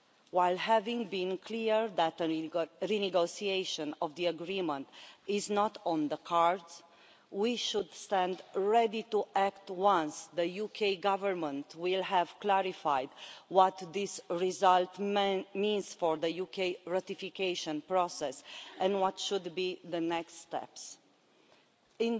While having been clear that renegotiation of the agreement is not on the cards, we should stand ready to act once the UK Government has clarified what this result means for the UK ratification process and what the next steps should be.